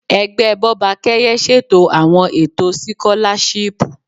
Ẹgbẹ Bọ́bakẹ́yẹ ṣètò àwọn ètò sikolashipu.